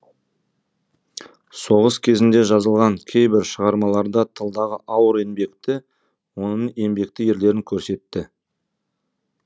соғыс кезінде жазылған кейбір шығармаларда тылдағы ауыр еңбекті оның еңбекті ерлерін көрсетті